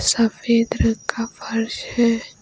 सफेद रंग का फर्श है।